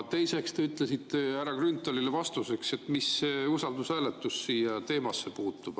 Teiseks, te ütlesite härra Grünthalile vastuseks, et mis see usaldushääletus siia teemasse puutub.